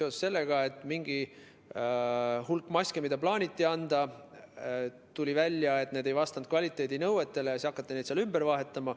Tuli välja, et mingi hulk maske, mida plaaniti anda, ei vastanud kvaliteedinõuetele ja siis hakati neid ümber vahetama.